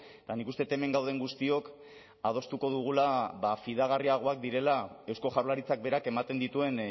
eta nik uste dut hemen gauden guztiok adostuko dugula fidagarriagoak direla eusko jaurlaritzak berak ematen dituen